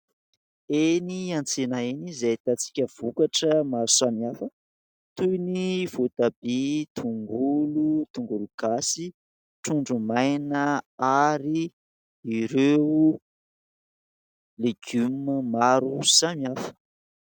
Eny an-tsena eny izay ahitantsika vokatra maro samihafa toy ny voatabia, tongolo, tongolo gasy, trondro maina ary ireo legioma maro samihafa.